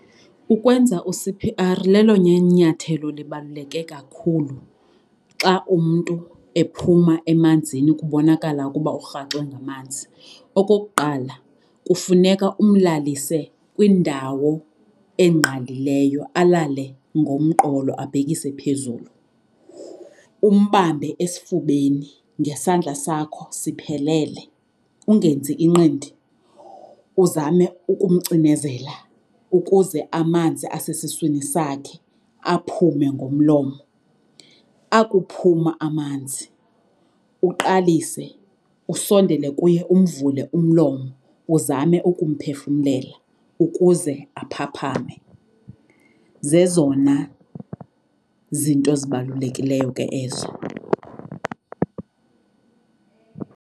Ukwenza u-C_P_R lelona nyathelo libaluleke kakhulu xa umntu ephuma emanzini kubonakala ukuba urhaxwe ngamanzi. Okokuqala kufuneka umlalise kwindawo engqalileyo alale ngomqolo, abhekise phezulu. Umbambe esifubeni ngesandla sakho siphelele, ungenzi inqindi. Uzame ukumcinezela ukuze amanzi asesiswini sakhe aphume ngomlomo. Akuphuma amanzi uqalise usondele kuye umvule umlomo uzame ukumphefumlela ukuze aphaphame. Zezona zinto zibalulekileyo ke ezo.